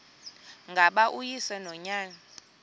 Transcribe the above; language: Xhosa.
ngaba uyise nonyana